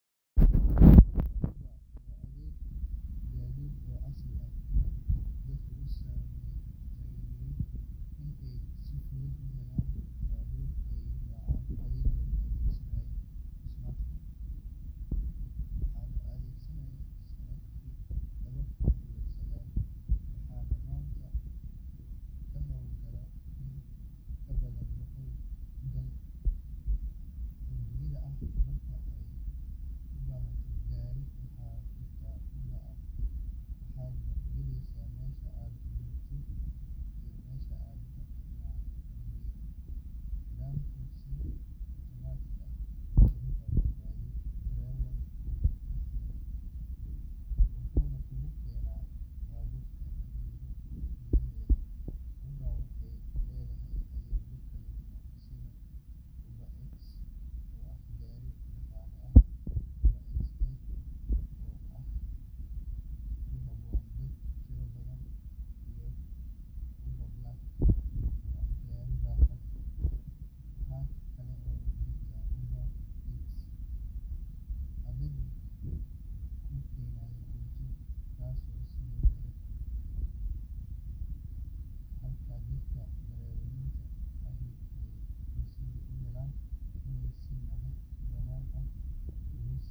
Uber waa adeeg gaadiid oo casri ah oo dadka u suurtageliyay in ay si fudud u helaan baabuur ay raacaan adigoo adeegsanaya smartphone. Waxaa la aasaasay sanadkii laba kun iyo sagaal, waxaana maanta ka hawlgala in ka badan boqol dal oo dunida ah. Marka aad u baahato gaari, waxaad furtaa Uber app, waxaadna gelisaa meesha aad joogto iyo meesha aad rabto in lagu geeyo. Nidaamku si otomaatig ah ayuu kuu raadiyaa darawal kuugu dhaw, wuxuuna kuugu keenaa baabuurka daqiiqado gudaheed. Uber waxay leedahay adeegyo kala duwan sida UberX, oo ah gaari dhaqaale ah, UberXL oo ku habboon dad tiro badan, iyo UberBlack oo ah gaari raaxo leh. Waxa kale oo jirta Uber Eats, adeeg kuu keenaya cunto, kaasoo sidoo kale si weyn ugu faafo magaalooyin badan. Halka dadka darawaliinta ahi ay fursad u helaan inay si madax-bannaan uga shaqeeyaan, macaamiishuna ay helaan adeeg ammaan.